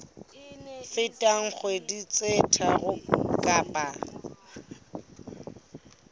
feteng dikgwedi tse tharo kapa